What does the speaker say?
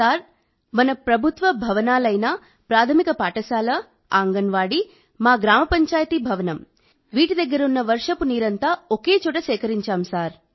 sir మన ప్రభుత్వ భవనాలైన ప్రాథమిక పాఠశాల అంగన్వాడీ మా గ్రామపంచాయతీ భవనం వీటి దగ్గర ఉన్న వర్షపు నీరంతా ఒకే చోట సేకరిం చాం సార్